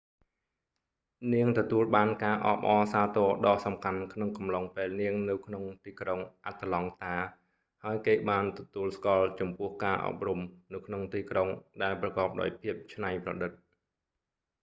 នាងទទួលបានការអបអរសាទរដ៏សំខាន់ក្នុងកំឡុងពេលនាងនៅក្នុងទីក្រុង អាត្លង់តា ហើយគេបានទទួលស្គាល់ចំពោះការអប់រំនៅក្នុងទីក្រុងដែលប្រកបដោយភាពច្នៃប្រឌិត